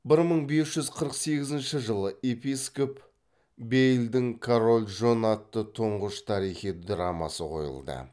бір мың бес жүз қырық сегізінші жылы епископ бейлдің король джон атты тұңғыш тарихи драмасы қойылды